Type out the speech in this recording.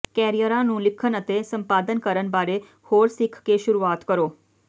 ਕੈਰੀਅਰਾਂ ਨੂੰ ਲਿਖਣ ਅਤੇ ਸੰਪਾਦਨ ਕਰਨ ਬਾਰੇ ਹੋਰ ਸਿੱਖ ਕੇ ਸ਼ੁਰੂਆਤ ਕਰੋ